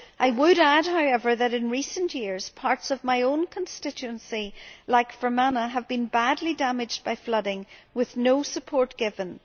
I would add, however, that in recent years parts of my own constituency, like Fermanagh, have been badly damaged by flooding, with no support given.